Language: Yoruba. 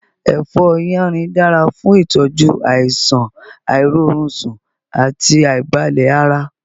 Èfó yánrin dára fún ìtọ́jú àìsàn àìrórunsùn àti àìbalẹ̀ ara.